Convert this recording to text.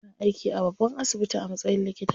Ina aiki a babban asibiti a matsayin likita.